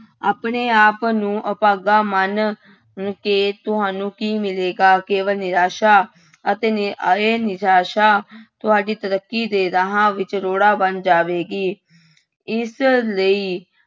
ਆਪਣੇ ਆਪ ਨੂੰ ਅਭਾਗਾ ਮਨ ਕੇ ਤੁਹਾਨੂੰ ਕੀ ਮਿਲੇਗਾ ਕੇਵਲ ਨਿਰਾਸ਼ਾ ਅਤੇ ਨਿ ਇਹ ਨਿਰਾਸਾ ਤੁਹਾਡੀ ਤਰੱਕੀ ਦੇ ਰਾਹਾਂ ਵਿੱਚ ਰੋੜਾ ਬਣ ਜਾਵੇਗੀ ਇਸ ਲਈ